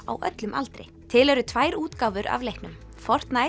á öllum aldri til eru tvær útgáfur af leiknum